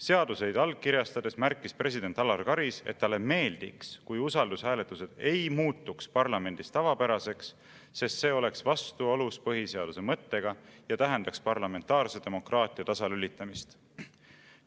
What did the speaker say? Seaduseid allkirjastades märkis president Alar Karis, et talle meeldiks, kui usaldushääletused ei muutuks parlamendis tavapäraseks, sest see oleks vastuolus põhiseaduse mõttega ja tähendaks parlamentaarse demokraatia tasalülitamist.